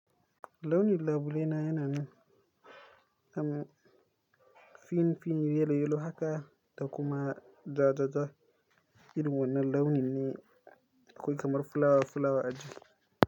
Launin labule na yana min, am, fin fin, yelo yelo haka da kuma jajaja. Irin wannan launin ne, akwai kamar fulawa fulawa a cjki.